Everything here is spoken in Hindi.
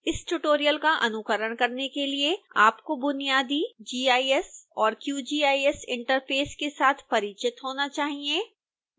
इस ट्यूटोरियल का अनुकरण करने के लिए आपको बुनियाजदी gis और qgis interface के साथ परिचित होना चाहिए